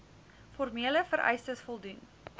formele vereistes voldoen